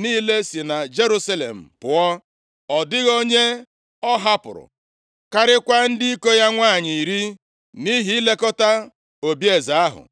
niile si na Jerusalem pụọ. Ọ dịghị onye ọ hapụrụ karịakwa ndị iko ya nwanyị iri nʼihi ilekọta obieze ahụ.